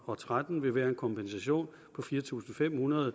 og tretten vil være en kompensation på fire tusind fem hundrede